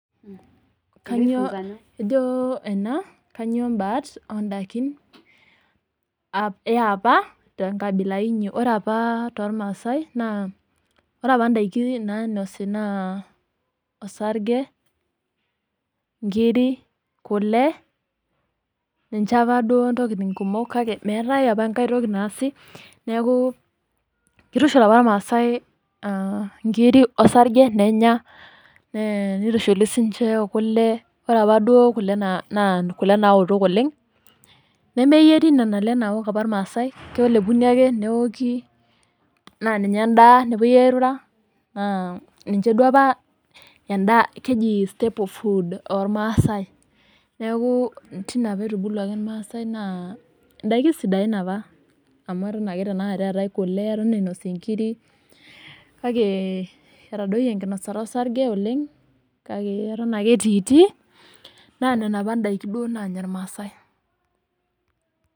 Ejo ena kanyio baat oondaikin eapa tenkabila inyi. Ore opa tolmaasai naa ore indaiki nainosi naa, osarge, inkiri, kule. Ninche opa duo intokitin kumok kake meatai opaenkai toki naasi neaku keitushul opa ilmaasai inkiri osarge nenya, neitushuli sii ninye o kule. Ore opa duo kule naa kule naoto oleng', nemeyieri opa nena kule naok opa ilmaasai, kelepuni ake neoki , naa ninye endaa neepuoi airura, ninche duo opa endaa keji staple food olmaasai. Neaku teine opa eitubuluaki ilmaasai naa indaiki sidain opa. Amu eton ake tenaikata eatai kule, eton einosi inkiri, kake etadoiye enkinosata osarge oleng', kake eton ake etiitii, naa nena opa indaiki duo naanya ilmaasai.